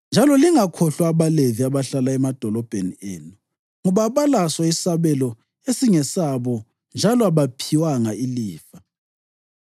Njalo lingakhohlwa abaLevi abahlala emadolobheni enu, ngoba abalaso isabelo esingesabo njalo abaphiwanga ilifa.